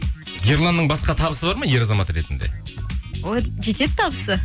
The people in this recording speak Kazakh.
ерланның басқа табысы бар ма ер азамат ретінде ой жетеді табысы